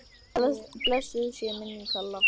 Blessuð sé minning Kalla.